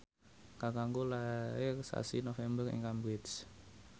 kakangku lair sasi November ing Cambridge